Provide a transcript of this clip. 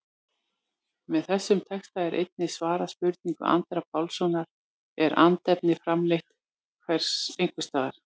Með þessum texta er einnig svarað spurningu Andra Pálssonar, Er andefni framleitt einhvers staðar?